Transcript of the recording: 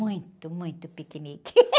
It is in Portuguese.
Muito, muito piquenique.